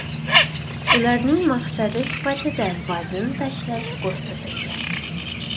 Ularning maqsadi sifatida vazn tashlash ko‘rsatilgan.